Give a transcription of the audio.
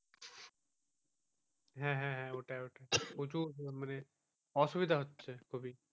হ্যাঁ হ্যাঁ ওটাই ওটাই প্রচুর মানে অসুবিধা হচ্ছে।